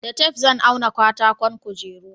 da tef zan auna katakon kujeru